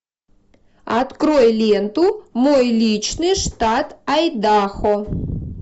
открой ленту мой личный штат айдахо